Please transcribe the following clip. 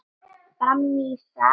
Fram í sal með ykkur!